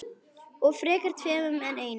Og frekar tveimur en einum.